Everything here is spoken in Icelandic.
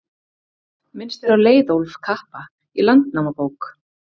Minnst er á Leiðólf kappa í Landnámabók.